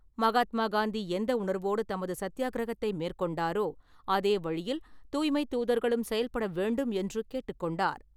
மகாத்மா காந்தி எந்த உணர்வோடு தமது சத்தியாகிரகத்தை மேற்கொண்டாரோ அதே வழியில் தூய்மைத் தூதர்களும் செயல்பட வேண்டும் என்று கேட்டுக்கொண்டார்.